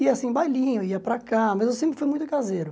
E assim, bailinho, ia para cá, mas eu sempre fui muito caseiro.